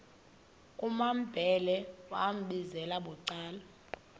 kumambhele wambizela bucala